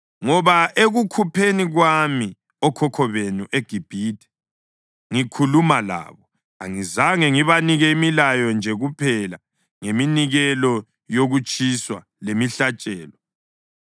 Ngoba ekukhupheni kwami okhokho benu eGibhithe ngikhuluma labo, angizange ngibanike imilayo nje kuphela ngeminikelo yokutshiswa lemihlatshelo,